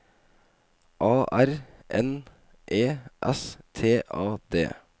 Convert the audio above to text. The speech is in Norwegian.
A R N E S T A D